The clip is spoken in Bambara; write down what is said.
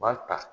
U b'a ta